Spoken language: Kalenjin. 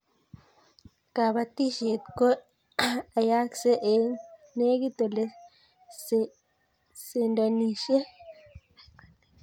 kabatishiet ko ayaksee eng negit ole sendonishiek